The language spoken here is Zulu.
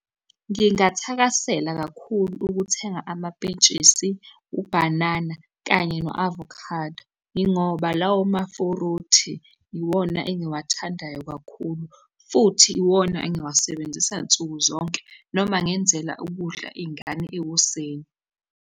Ngingathakasela kakhulu ukuthenga amapentshisi, ubhanana, kanye no-avocado, yingoba lawo mafuruthi iwona engiwathandayo kakhulu, futhi iwona engiwasebenzisa nsuku zonke noma ngenzela ukudla iy'ngane ekuseni.